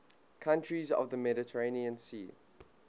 countries of the mediterranean sea